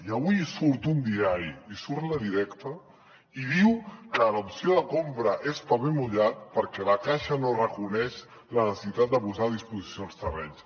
i avui surt un diari surt la directa i diu que l’opció de compra és paper mullat perquè la caixa no reconeix la necessitat de posar a disposició els terrenys